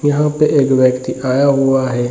यहां पे एक व्यक्ति आया हुआ है।